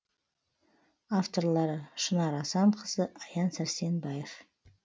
авторлары шынар асанқызы аян сәрсенбаев